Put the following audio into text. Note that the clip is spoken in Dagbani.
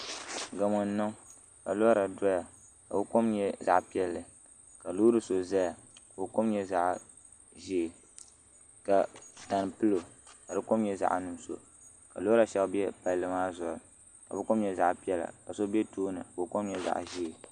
Gamo n niŋ ka lora doya ka o kom nyɛ zaɣ piɛlli ka loori so ʒɛya ka o kom nyɛ zaɣ ʒiɛ ka tani pilo ka di kom nyɛ zaɣ nuɣso ka lora shab biɛla palli maa zuɣu ka bi kom nyɛ zaɣ piɛla ka so bɛ tooni ka o kom nyɛ zaɣ ʒiɛ